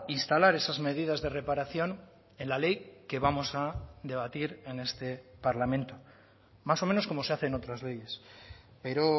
instalar esas medidas de reparación en la ley que vamos a debatir en este parlamento más o menos como se hace en otras leyes pero